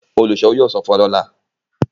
oluṣowo yóò sọfún wá lọla